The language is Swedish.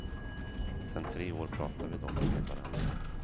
Sen tre år pratar vi dock med varandra.